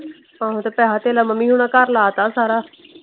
ਆਹੋ ਤੇ ਪੈਸਾ ਥੇਲਾ ਮੰਮੀ ਹੁਣਾ ਘਰ ਲਾ ਤਾ ਸਾਰਾ।